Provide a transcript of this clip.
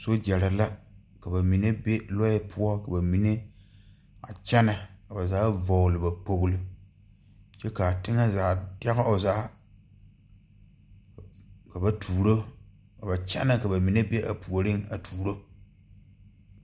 Sogyɛre la ka ba mine be lɔɛ poɔ ka ba mine a kyɛnɛ ka ba vɔgle ba kpogle kyɛ kaa teŋɛ zaa dɛge o zaa ka ba tuuro ka ba kyɛnɛ ka ba mine be a puoriŋ a tuuro.